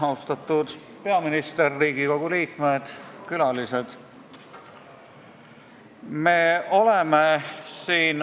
Austatud peaminister, Riigikogu liikmed ja külalised!